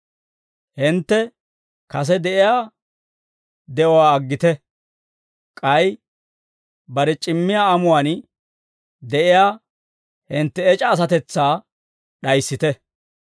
Hintte kase de'iyaa de'uwaa aggite; k'ay bare c'immiyaa amuwaan d'ayiyaa hintte ec'a asatetsaa d'ayissite.